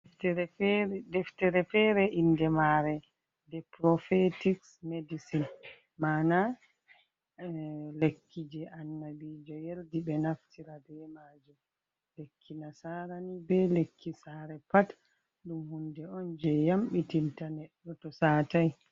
Deftere feere, inde maare 'The Prophetic Medicine'. Ma'ana lekki je annabijo yerdi ɓe naftira be maajum. Lekki nasaara ni, be lekki saare pat, ɗum hunde on je yamɓitin ta neɗɗo to saatai.